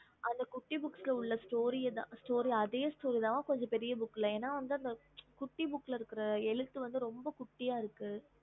அந்த குட்டி பூக்குள இருக்குறதுதா இதுலயும் பெரிச இருக்கும்